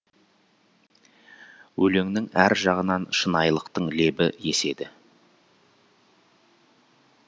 өлеңнің әр жағынан шынайылықтың лебі еседі